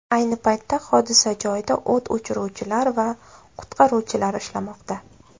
Ayni paytda hodisa joyida o‘t o‘chiruvchilar va qutqaruvchilar ishlamoqda.